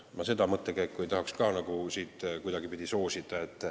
Ma seda mõttekäiku ei taha siin kuidagipidi soosida.